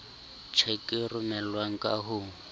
tjheke e romelwang ka ho